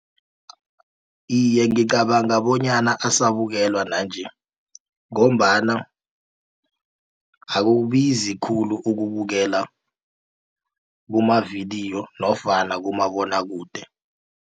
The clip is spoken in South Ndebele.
Iye, ngicabanga bonyana asabukelwa nanje. Ngombana akubizi khulu ukubukela kumavidiyo nofana kumabonwakude.